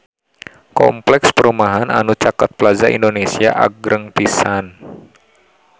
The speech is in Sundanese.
Kompleks perumahan anu caket Plaza Indonesia agreng pisan